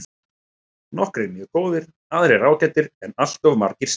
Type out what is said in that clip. Nokkrir mjög góðir aðrir ágætir en alltof margir slakir.